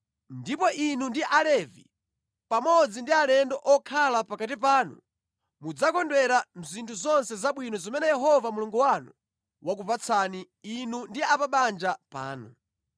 Ndipo inu ndi Alevi pamodzi ndi alendo okhala pakati panu mudzakondwera mʼzinthu zonse zabwino zimene Yehova Mulungu wanu wakupatsani, inu ndi a pa banja panu.